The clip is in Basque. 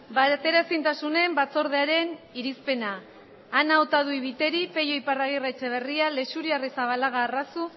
bateraezintasunen batzordearen irizpena ana otadui biteri peio iparragirre etxeberria leixuri arrizabalaga